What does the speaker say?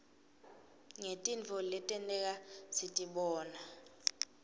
ngetintfo letenteka sitibona